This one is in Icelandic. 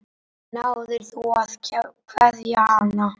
Náðir þú að kveðja hana?